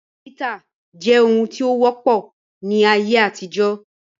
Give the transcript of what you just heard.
Ayo títa jẹ́ ohun tí ó wọ́pọ̀ ní ayé àtijọ́